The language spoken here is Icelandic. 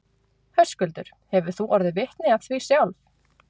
Höskuldur: Hefur þú orðið vitni af því sjálf?